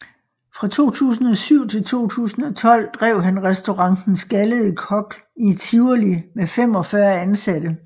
Fra 2007 til 2012 drev han Restaurant Den Skaldede Kok i Tivoli med 45 ansatte